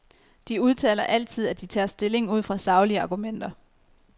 De udtaler altid, at de tager stilling ud fra saglige argumenter.